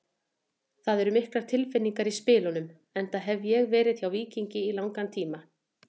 Það eru miklar tilfinningar í spilunum enda hef ég verið hjá Víkingi í langan tíma.